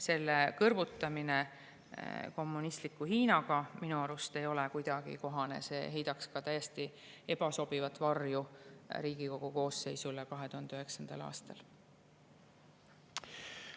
Selle kõrvutamine kommunistliku Hiinaga ei ole minu arust kuidagi kohane, see heidaks ka täiesti ebasobivat varju Riigikogu 2009. aasta koosseisule.